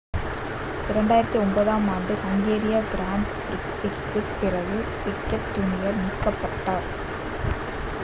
2009 ஆம் ஆண்டு ஹங்கேரிய கிராண்ட் பிரிக்ஸிற்குப் பிறகு பிக்கெட் ஜூனியர் நீக்கப்பட்டார்